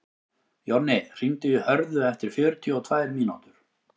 Jonni, hringdu í Hörðu eftir fjörutíu og tvær mínútur.